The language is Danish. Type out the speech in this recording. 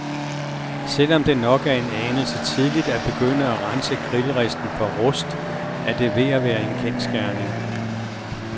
Selvom det nok er en anelse tidligt at begyndte at rense grillristen for rust, er det ved at være en kendsgerning.